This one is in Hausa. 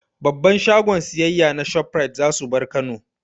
Babban shagon siyayya na Shoprite za su bar Kano.